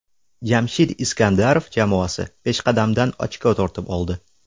Jamshid Iskandarov jamoasi peshqadamdan ochko tortib oldi.